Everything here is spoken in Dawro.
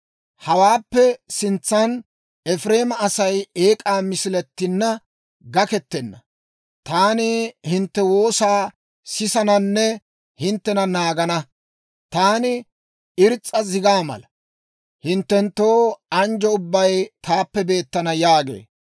Hawaappe sintsan Efireema Asay eek'aa misilatinna gakkettenna; taani hintte woosaa sisananne hinttena naagana. Taani irs's'a zigaa mala; hinttenttoo anjjo ubbay taappe beettana» yaagee.